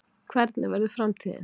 Hvernig verður framtíðin?